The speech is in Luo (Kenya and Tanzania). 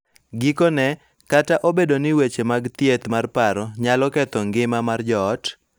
Gikone, kata obedo ni weche mag thieth mar paro nyalo ketho ngima mar joot,